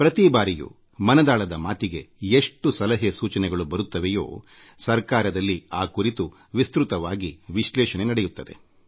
ಪ್ರತಿ ಬಾರಿ ಮನದಾಳದ ಮಾತಿಗೆ ಎಷ್ಟು ಸಲಹೆ ಸೂಚನೆಗಳು ಬರುತ್ತವೆಯೋ ಅದೆಲ್ಲವನ್ನೂ ಸರ್ಕಾರದಲ್ಲಿ ವಿಸ್ತೃತವಾಗಿ ವಿಶ್ಲೇಷಣೆಗೆ ಒಳಪಡಿಸಲಾಗುತ್ತದೆ